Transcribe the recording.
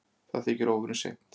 Það þykir óvenju seint